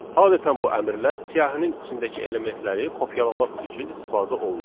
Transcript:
Adətən bu əmrlər siyahının içindəki elementləri kopyalamaq üçün istifadə olunur.